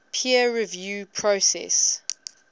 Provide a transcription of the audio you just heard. peer review process